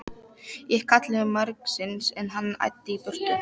Ég kallaði margsinnis, en hann æddi í burtu.